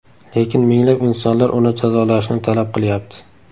Lekin minglab insonlar uni jazolashni talab qilyapti .